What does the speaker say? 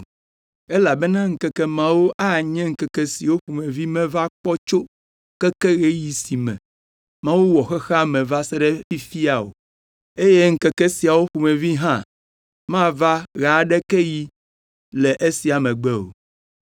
elabena ŋkeke mawo anye ŋkeke siwo ƒomevi meva kpɔ tso keke ɣeyiɣi si me Mawu wɔ xexea me va se ɖe fifia o. Eye ŋkeke siawo ƒomevi hã mava ɣe aɖeke ɣi le esia megbe o.